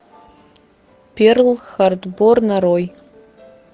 перл харбор нарой